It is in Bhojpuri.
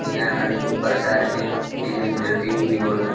इहां अनेको परकार के इजा इंटरभ्यू भी होला।